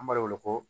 An b'a wele ko